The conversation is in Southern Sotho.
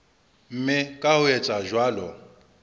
mme ka ho etsa jwalo